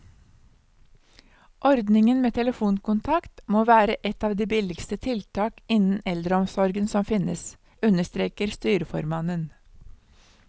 Ordningen med telefonkontakt må være et av de billigste tiltak innen eldreomsorgen som finnes, understreker styreformannen.